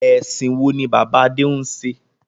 Ẹ̀sìn wo ni bàbá Adé ń ṣe?